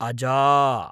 अजा